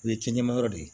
O ye cɛn ma yɔrɔ de ye